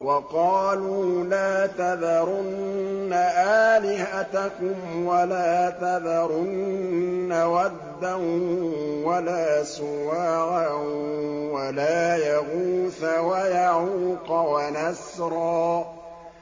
وَقَالُوا لَا تَذَرُنَّ آلِهَتَكُمْ وَلَا تَذَرُنَّ وَدًّا وَلَا سُوَاعًا وَلَا يَغُوثَ وَيَعُوقَ وَنَسْرًا